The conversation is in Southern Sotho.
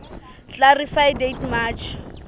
clarify date march